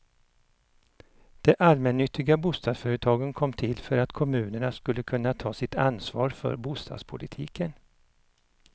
De allmännyttiga bostadsföretagen kom till för att kommunerna skulle kunna ta sitt ansvar för bostadspolitiken.